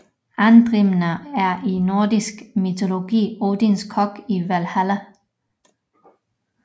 Andrimner er i nordisk mytologi Odins kok i Valhalla